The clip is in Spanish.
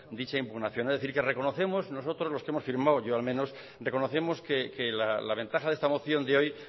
dicha impugnación es decir que reconocemos nosotros los que hemos firmado yo al menos reconocemos que la ventaja de esta moción de hoy